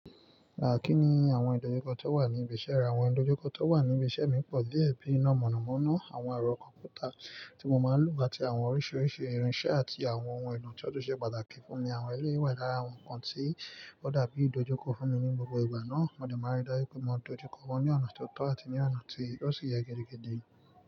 Kí ni àwọn ìdojúkọ tó wà ní ibi iṣẹ́ re. Àwọn ìdojúkọ tó wà ní ibi iṣẹ́ mi pọ̀ díẹ̀ bíi iná mọ̀nàmọ́ná, àwọn ẹ̀rọ kọ̀mpútà tí mo máa ń lò àti àwọn oríṣiiríṣii irinṣẹ́ àti àwọn ohun èlò tó túnṣẹ́ pàtàkì fún mi. Àwọn èléyi wà lára àwọn nǹkan tí ó dàbí ìdojúkọ fún mi ní gbogbo ìgbà náà, mo dè máa rí dájú pé mo dojú kọ wọn ní ọ̀nà tó tọ́ àti ní ọ̀nà tí ó sì yẹ gidigidi.